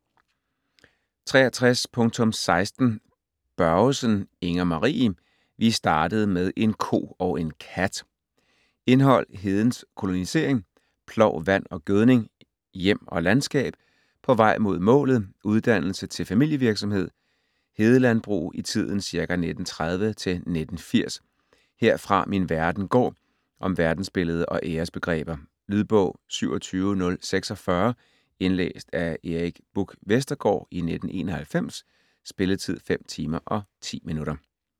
63.16 Børgesen, Inger-Marie: Vi startede med en ko og en kat! Indhold: Hedens kolonisering ; Plov, vand og gødning ; Hjem og landskab ; På vej mod målet - "uddannelse" til familievirksomhed ; Hedelandbrug i tiden ca. 1930-1980 ; "Herfra min verden går" - om verdensbillede og æresbegreber. Lydbog 27046 Indlæst af Erik Buch Vestergaard, 1991. Spilletid: 5 timer, 10 minutter.